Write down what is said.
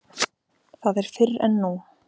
Það er fyrr en nú.